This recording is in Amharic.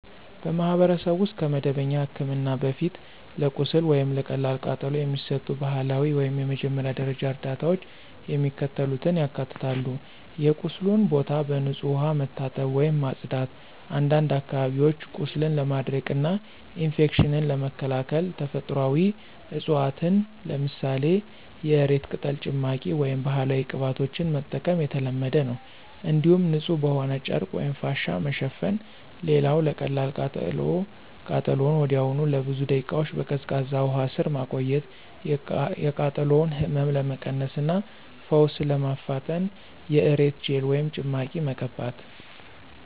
በማኅበረሰብ ውስጥ ከመደበኛ ሕክምና በፊት ለቁስል ወይም ለቀላል ቃጠሎ የሚሰጡ ባህላዊ ወይም የመጀመሪያ ደረጃ እርዳታዎች የሚከተሉትን ያካትታሉ የቁስሉን ቦታ በንጹሕ ውሃ መታጠብ ወይም ማጽዳት፣ አንዳንድ አካባቢዎች ቁስልን ለማድረቅና ኢንፌክሽንን ለመከላከል ተፈጥሯዊ ዕፅዋትን ለምሳሌ የእሬት ቅጠል ጭማቂ ወይም ባህላዊ ቅባቶችን መጠቀም የተለመደ ነው። እንዲሁም ንጹሕ በሆነ ጨርቅ ወይም ፋሻ መሸፈን። ሌላው ለቀላል ቃጠሎ ቃጠሎውን ወዲያውኑ ለብዙ ደቂቃዎች በቀዝቃዛ ውሃ ስር ማቆየት፣ የቃጠሎውን ህመም ለመቀነስ እና ፈውስ ለማፋጠን የእሬት ጄል ወይም ጭማቂ መቀባት።